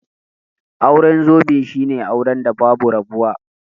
Auren zobe shine auren da babu rabuwa